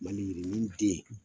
Maliyirinin den,